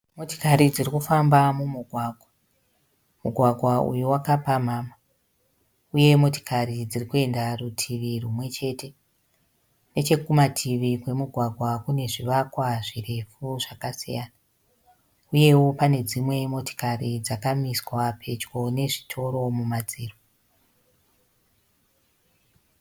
Motokari dziri kufamba mumugwagwa. Mugwagwa uyu wakapamhama uye motokari dziri kuenda rutivi rumwe chete. Nechokumativi kwomugwagwa kune zvivakwa zvirefu zvakasiyana uyewo pane dzimwe motokari dzakamiswa pedyo nezvitoro mumadziro.